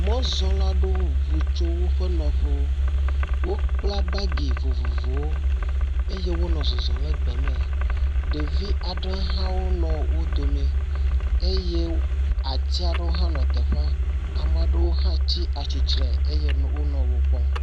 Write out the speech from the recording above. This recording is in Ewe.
Mɔzɔla ɖewo ŋu tso woƒe nɔƒewo. Wokla woƒe bagi vovovowo eye wonɔ zɔzɔm le gbeme, ɖevi aɖewo hã wole wo dome eye ati aɖewo hã nɔ teƒea, ame aɖewo hã tsi atsitre eye wonɔ wo kpɔm.